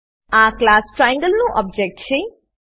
આ class triangle નું object છે